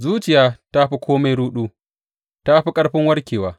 Zuciya ta fi kome ruɗu ta fi ƙarfin warkewa.